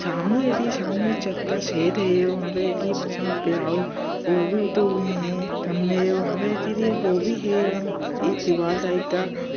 सामने देखिए सामने चद्दर सेट है। वहाँ पे देखिए वहाँ एक दीवाल टाइप ता --